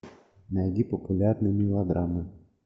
найди популярные мелодрамы